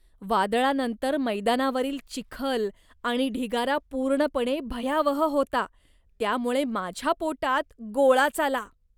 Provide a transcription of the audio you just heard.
वादळानंतर मैदानावरील चिखल आणि ढिगारा पूर्णपणे भयावह होता, त्यामुळे माझ्या पोटात गोळाच आला.